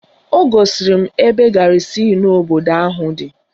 O gosiri m ebe garịzịn obodo ahụ dị